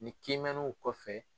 Ni kiimɛnniw kɔfɛ.